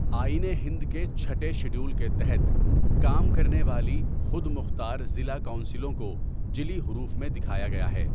آئین ہند کے چھٹے شیڈول کے تحت کام کرنے والی خود مختار ضلع کونسلوں کو جلی حروف میں دکھایا گیا ہے۔